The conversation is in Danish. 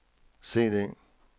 CD